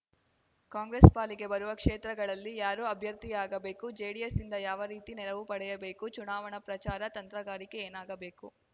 ಕಾಂಗ್ರೆಸ್‌ ಪಾಲಿಗೆ ಬರುವ ಕ್ಷೇತ್ರಗಳಲ್ಲಿ ಯಾರು ಅಭ್ಯರ್ಥಿಯಾಗಬೇಕು ಜೆಡಿಎಸ್‌ನಿಂದ ಯಾವ ರೀತಿ ನೆರವು ಪಡೆಯಬೇಕು ಚುನಾವಣಾ ಪ್ರಚಾರ ತಂತ್ರಗಾರಿಕೆ ಏನಾಗಬೇಕು